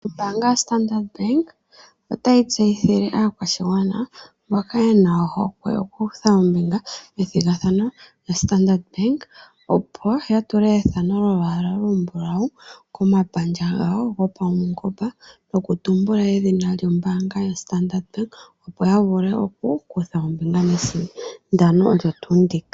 Ombaanga ya standard Bank ota yi tseyithile aakwashigwana mboka ye na ohokwe oku kutha ombinga methigathano lya Standard Bank. Opo ya tule ethano lyolwaala olumbulawu komapandja gawo gwopaungomba noku tumbula edhina lyoStandard Bank opo ya vule oku kutha ombinga mesindano.